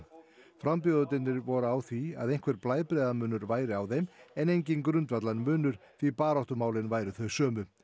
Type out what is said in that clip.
frambjóðendurnir voru á því að einhver blæbrigðamunur væri á þeim en enginn grundvallarmunur því baráttumálin væru þau sömu